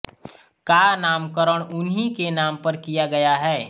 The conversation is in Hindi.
का नामकरण उन्ही के नाम पर किया गया है